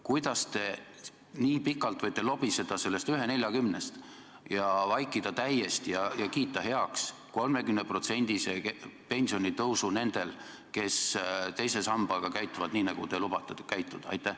Kuidas te võite nii pikalt lobiseda sellest 1,40-st ja kiita heaks 30%-lise pensioni vähenemise nendel, kes teise sambaga käituvad nii, nagu te lubate käituda?